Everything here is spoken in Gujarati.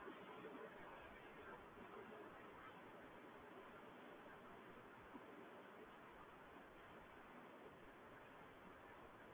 હા હા